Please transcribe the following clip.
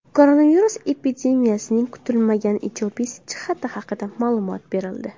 Koronavirus epidemiyasining kutilmagan ijobiy jihati haqida ma’lumot berildi .